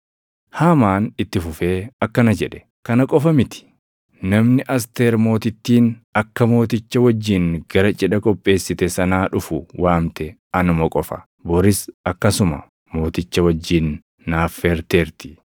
Haamaan itti fufee akkana jedhe; “Kana qofa miti; namni Asteer Mootittiin akka mooticha wajjin gara cidha qopheessite sanaa dhufu waamte anuma qofa. Boris akkasuma mooticha wajjin na affeerteerti.